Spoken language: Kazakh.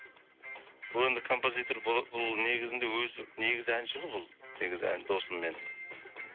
бұл енді композитор бұл негізінде өзі негізі әнші ғой бұл негізі ән досым менің